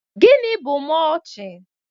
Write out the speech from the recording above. Gịnị bụ mọlchịn?